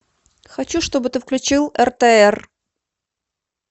хочу чтобы ты включил ртр